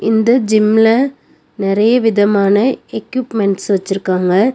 இந்த ஜிம்ல நெறைய விதமான எக்யூப்மெண்ட்ஸ் வச்சுருக்காங்க.